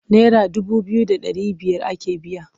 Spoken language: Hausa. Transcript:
Naira dubu biyu da ɗari biyar ake biya.